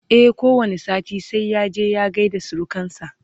e ko wani sati sai ya je ya gaida surukansa